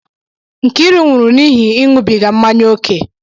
Nkiru nwụrụ n'ihi ịṅụbiga mmanya ókè